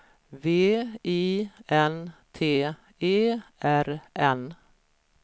V I N T E R N